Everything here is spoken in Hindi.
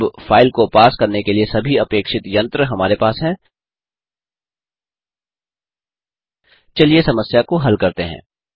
अब फाइल को पार्स करने के लिए सभी अपेक्षित यंत्र हमारे पास है चलिए समस्या को हल करते हैं